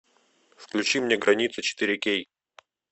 включи мне граница четыре кей